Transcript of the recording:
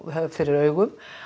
höfð fyrir augum